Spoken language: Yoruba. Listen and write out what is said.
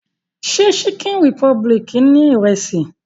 Ṣé Chicken republic ni Ìrẹ́sì?